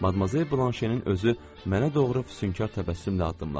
Madamzel Blanşenin özü mənə doğru füsunkar təbəssümlə addımladı.